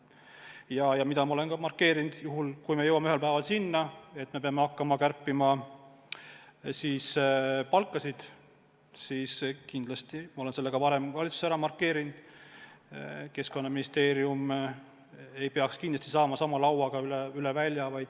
Ja ma olen seda ka valitsuses markeerinud, et kui me jõuame ühel päeval selleni, et peame hakkama palkasid kärpima, siis kindlasti ei peaks Keskkonnaministeerium seda tegema sama lauaga üle välja.